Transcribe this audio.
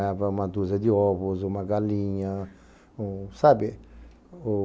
Ganhava uma dúzia de ovos, uma galinha, um sabe?